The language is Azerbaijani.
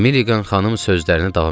Milliqan xanım sözlərinə davam elədi.